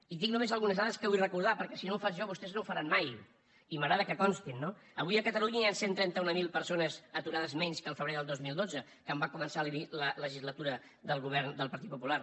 i tinc només algunes dades que vull recordar perquè si no ho faig jo vostès no ho faran mai i m’agrada que constin no avui a catalunya hi han cent i trenta mil persones aturades menys que el febrer del dos mil dotze quan va començar la legislatura del govern del partit popular